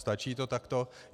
Stačí to takto?